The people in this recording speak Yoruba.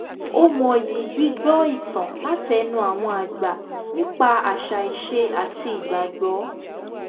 ó mọyì gbígbọ́ ìtàn látẹnu àwọn àgbà nípa àṣà ìṣe àti ìgbàgbọ́